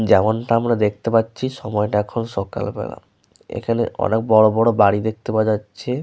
যেমনটা আমরা দেখতে পাচ্ছি সময়টা এখন সকালবেলা। এখানে অনেক বড়বড় বাড়ি দেখতে পাওয়া যাচ্ছে।